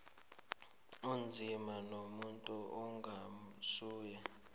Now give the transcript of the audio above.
onzima nomuntu ongasuye